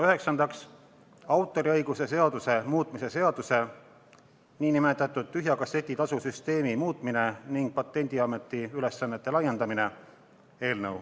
Üheksandaks, autoriõiguse seaduse muutmise seaduse eelnõu.